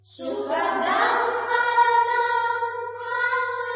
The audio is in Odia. ସୁଖଦାଂ ବରଦାଂ ମାତରମ୍